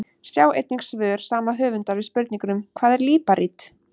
Sjá einnig svör sama höfundar við spurningunum: Hvað er líparít?